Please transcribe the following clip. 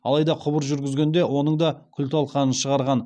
алайда құбыр жүргізгенде оның да күл талқанын шығарған